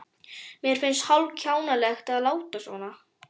Mér finnst hálf-kjánalegt að láta svona.